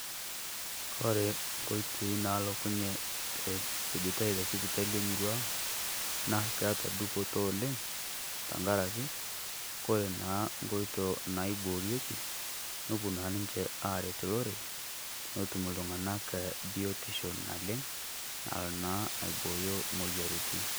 Kore nkoitoi naalokunye te esujitai te sipitali emurrua ang naa keeta dupoto oleng. Tang'araki kore naa nkotoo naiboreki nopoo naa ninchee areet lorere notum iltung'anak e biutisho naleng naloo naa aibooyo moyarritin.